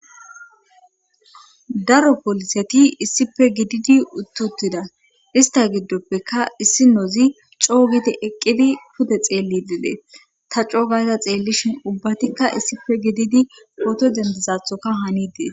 daro poliseti issife gididi uttutida ista giddoppeka issi nozi coo gidi eqqidi pude xeelli dide ta coogayza xeellishin ubbatikka issife gididi pooto dendezathoka hanidee